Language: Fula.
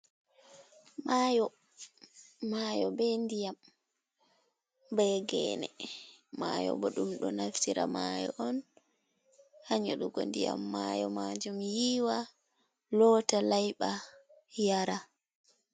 Mayo! Mayo be ndiyam, be gene. Mayo bo ɗum ɗo naftira mayo on ha nyedugo ndiyam mayo majum yiwa, lota, layɓira, yara.